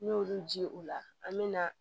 N'i y'olu ji u la an mɛna